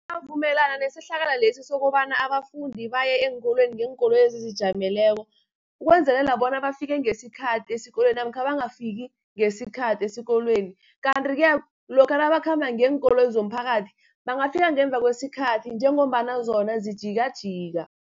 Ngiyavumelana nesehlakalo lesi sokobana abafundi baye eenkolweni ngeenkoloyi ezizijameleko, ukwenzelela bona bafike ngesikhathi esikolweni, namkha bangafiki ngesikhathi esikolweni. Kanti-ke lokha nabakhamba ngeenkoloyi zomphakathi bangafika ngemuva kwesikhathi, njengombana zona zijikajika.